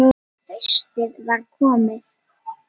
Haustið var komið.